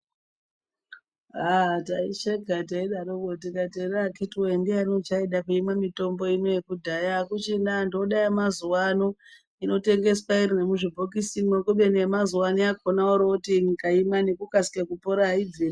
Ah taisheka teidaroko tikati here akhiti we-e ndiyani uchaida kuimwa mitombo inoyi yekudhaya. Hakuchina antu ode yemazuva ano inotengeswa iri muzvibhokisimwo. Kubeni yemazuva ano yakona yorooti ukaimwa ngekukasike kupora, haibvi...